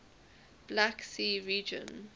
black sea region